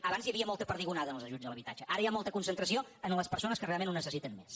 abans hi havia molta perdigonada en els ajuts a l’habitatge ara hi ha molta concentració en les persones que realment ho necessiten més